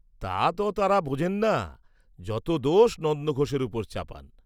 তা ত তাঁরা বোঝেন না, যত দোষ নন্দঘোষের উপর চাপান্।